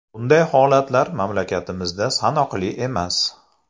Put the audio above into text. Bunday holatlar mamlakatimizda sanoqli emas.